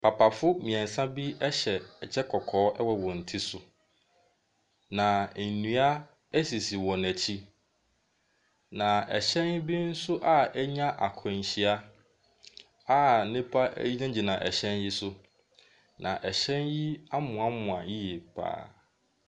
Papafo mmiɛnsa hyɛ kyɛ kɔkɔɔ wɔ wɔn ti so. Na nnua bi nso sisi wɔn akyi, na ɛhyɛn bi nso a ɛnya akwanhyia a nnipa gyinagyina ɛhyɛn yi so. Na Ɛhyɛn yi amoamoa yie pa ara.